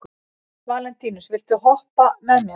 Valentínus, viltu hoppa með mér?